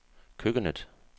køkkenet